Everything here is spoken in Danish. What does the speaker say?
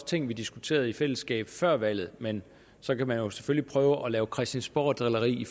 ting vi diskuterede i fællesskab før valget men så kan man jo selvfølgelig prøve at lave christiansborgdrilleri